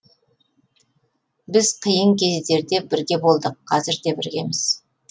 біз қиын кездерде бірге болдық қазір де біргеміз